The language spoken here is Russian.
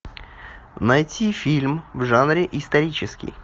найти фильм в жанре исторический